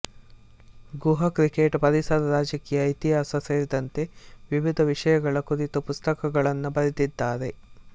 ಗುಹಾ cricket ಪರಿಸರ ರಾಜಕೀಯ ಇತಿಹಾಸ ಸೇರಿದಂತೆ ವಿವಿಧ ವಿಷಯಗಳ ಕುರಿತು ಪುಸ್ತಕಗಳನ್ನು ಬರೆದಿದ್ದಾರೆ